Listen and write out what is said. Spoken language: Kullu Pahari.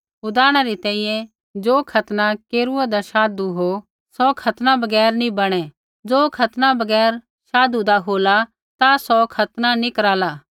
उदाहरणा री तैंईंयैं ज़ो खतना केरूआदा शाधु हो सौ खतनारहित नी बणै ज़ो खतनारहित शाधीरा होला ता सौ खतना नी कराला